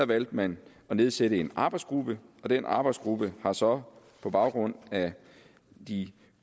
valgte man at nedsætte en arbejdsgruppe og den arbejdsgruppe har så på baggrund af de